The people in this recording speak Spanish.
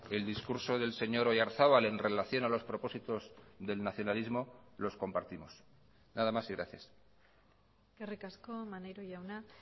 el discurso del señor oyarzabal en relación a los propósitos del nacionalismo los compartimos nada más y gracias eskerrik asko maneiro jauna